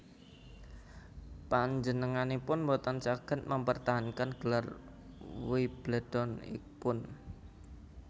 Panjenenganipun boten saged mempertahankan gelar Wimbledon ipun